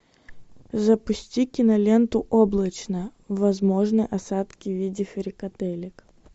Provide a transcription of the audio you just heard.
запусти киноленту облачно возможны осадки в виде фрикаделек